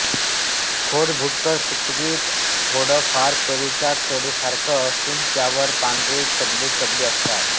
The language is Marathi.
खोड भुरकट तुकतुकीत थोडे फार पेरूच्या खोडासारखे असून त्यावर पांढरे चगदेचगदे असतात